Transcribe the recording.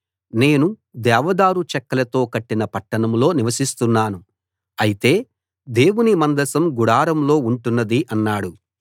నేను దేవదారు చెక్కలతో కట్టిన పట్టణంలో నివసిస్తున్నాను అయితే దేవుని మందసం గుడారంలో ఉంటున్నది అన్నాడు